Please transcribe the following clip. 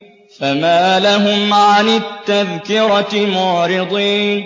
فَمَا لَهُمْ عَنِ التَّذْكِرَةِ مُعْرِضِينَ